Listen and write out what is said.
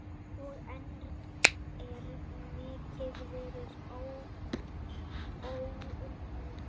Og enn er mikið verk óunnið.